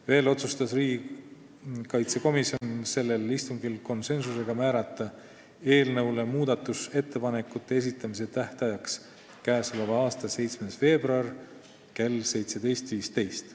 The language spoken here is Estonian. Veel otsustas riigikaitsekomisjon sellel istungil määrata eelnõu muudatusettepanekute esitamise tähtajaks k.a 7. veebruari kell 17.15 .